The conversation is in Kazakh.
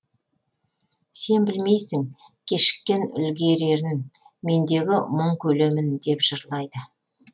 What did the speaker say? сен білмейсің кешіккен үлгерерін мендегі мұң көлемін деп жырлайды